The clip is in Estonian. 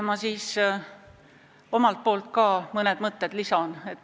Ma lisan ka omalt poolt mõned mõtted.